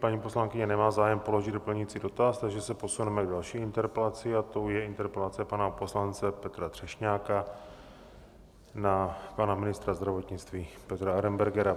Paní poslankyně nemá zájem položit doplňující dotaz, takže se posuneme k další interpelaci, a tou je interpelace pana poslance Petra Třešňáka na pana ministra zdravotnictví Petra Arenbergera.